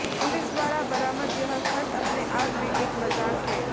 police द्वारा बरामद यह खत अपने आप में एक मज़ाक है